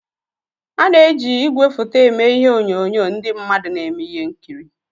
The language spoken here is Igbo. Ana-eji igwefoto eme ihe onyonyo ndị mmadụ na-eme ihe nkiri.